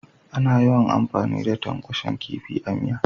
Ana yawan amfani da tankwashen kifi a miya.